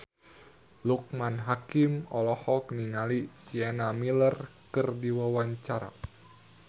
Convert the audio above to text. Loekman Hakim olohok ningali Sienna Miller keur diwawancara